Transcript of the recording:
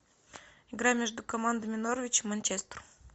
игра между командами норвич и манчестер